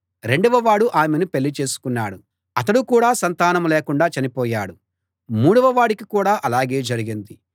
రెండవవాడు ఆమెను పెళ్ళిచేసుకున్నాడు అతడు కూడా సంతానం లేకుండా చనిపోయాడు మూడవ వాడికి కూడా అలాగే జరిగింది